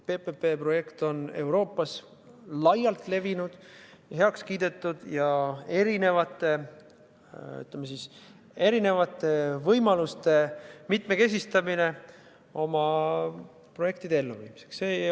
PPP-projekt on Euroopas laialt levinud ja heaks kiidetud, see on erisuguste võimaluste mitmekesistamine oma projektide elluviimiseks.